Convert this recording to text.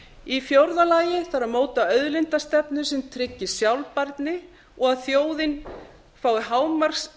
í fjórða lagi þarf að móta auðlindastefnu sem tryggir sjálfbærni og að þjóðin fái hámarksarð